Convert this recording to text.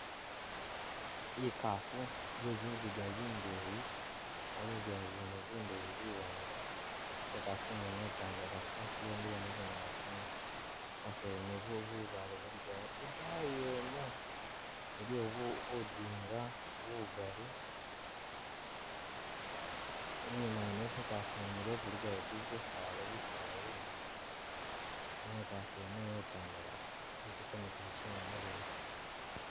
Ikaafu iye zinziga zindeyi uh zinziga mwene zindeyi ziwanga ate ingafu ingene itandalafu yemile mu bunyaasi imaaso yene bubaale bulikawo idaayi yene buliyo budinga bigaali, inyuma yene esi ikaafu yimile bulikayo busaala bisaala binyipi, ne ikaafu yene itandalafu iliko ne gumuchinga muleyi.